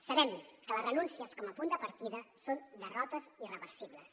sabem que les renúncies com a punt de partida són derrotes irreversibles